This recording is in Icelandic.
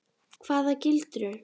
Hvaða gildru?